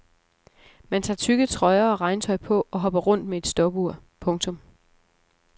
Man tager tykke trøjer og regntøj på og hopper rundt med et stopur. punktum